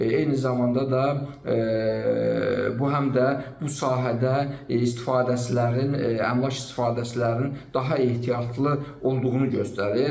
Eyni zamanda da bu həm də bu sahədə istifadəçilərin, əmlak istifadəçilərinin daha ehtiyatlı olduğunu göstərir.